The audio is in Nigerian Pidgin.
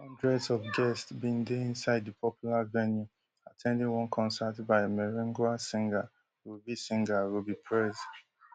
hundreds of guests bin dey inside di popular venue at ten ding one concert by merengue singer rubby singer rubby prez